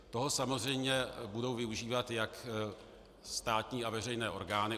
Toho samozřejmě budou využívat jak státní a veřejné orgány.